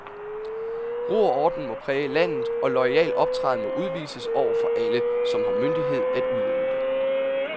Ro og orden må præge landet, og loyal optræden må udvises over for alle, som har myndighed at udøve.